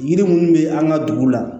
Yiri munnu be an ga dugu la